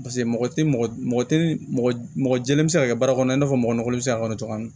Paseke mɔgɔ tɛ mɔgɔ tɛ mɔgɔ jɛlen bɛ se ka kɛ baara kɔnɔ i n'a fɔ mɔgɔli bɛ se ka kɔnɔ cogo min